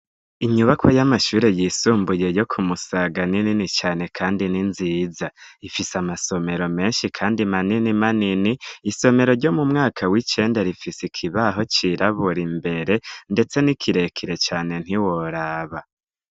Inyubako y'amashuri yisumbuye yo ku Musaga, ni nini cane kandi n'inziza, ifise amasomero menshi kandi manini manini, isomero ryo mu mwaka w'icenda rifise ikibaho cirabura imbere, ndetse ni kirekire cane ntiworaba!